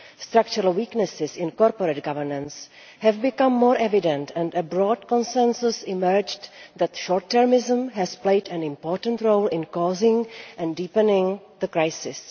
Structural weaknesses in corporate governance have become more evident, and a broad consensus emerged that short termism has played an important role in causing and deepening the crisis.